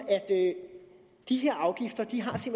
at de